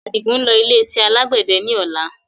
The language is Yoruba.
Adigun ń lọ ilé iṣẹ́ alàgbẹ̀dẹ ni ọ̀la